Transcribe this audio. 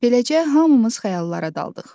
Beləcə, hamımız xəyallara daldıq.